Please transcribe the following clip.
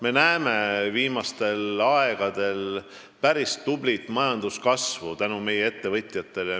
Me oleme viimastel aegadel tänu meie ettevõtjatele näinud päris tublit majanduskasvu.